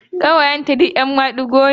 Ƙawayenta da yawa ‘yan madigo ne.